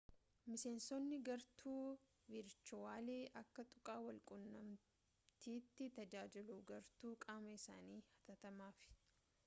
miseensotni gartuu virchuwali akka tuqaa wal qunnamtiiti tajaajiluu gartuu qaama isaanii hatattamaaf